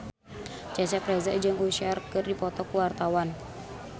Cecep Reza jeung Usher keur dipoto ku wartawan